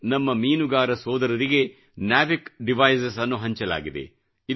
ನಮ್ಮ ಮೀನುಗಾರ ಸೋದರರಿಗೆ ನಾವಿಕ್ ಡಿವೈಸಸ್ ನಾವಿಕ್ ಡಿವೈಸಸ್ ಹಂಚಲಾಗಿದೆ